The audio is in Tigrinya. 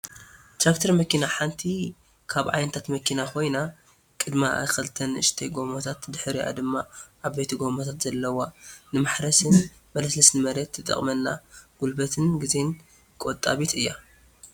ትራክተር መኪና ሓንቲ ካብ ዓይነታት መኪና ኮይና ቅድምኣ ክልተ ንኣሽቱ ጎማታት ድሕርኣ ድማ ዓበይቲ ጎማታት ዘለዋ ንመሓረሲን መለሳለስን መሬት ትጠቅመና ጉልበትን ግዜን ቆጣቢት እያ።